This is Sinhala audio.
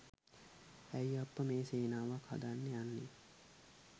ඇයි අප්පා මේ සේනාවක් හදන්න යන්නේ.